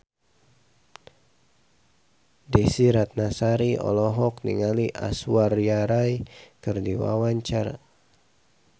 Desy Ratnasari olohok ningali Aishwarya Rai keur diwawancara